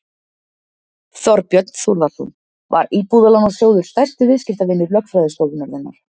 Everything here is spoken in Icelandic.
Þorbjörn Þórðarson: Var Íbúðalánasjóður stærsti viðskiptavinur lögfræðistofunnar þinnar?